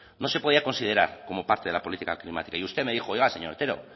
no se podía considerar como parte de la política climática y usted me dijo oiga señor otero